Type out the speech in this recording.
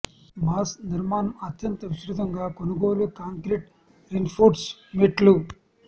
mass నిర్మాణం అత్యంత విస్తృతంగా కొనుగోలు కాంక్రీటు రీన్ఫోర్స్డ్ మెట్లు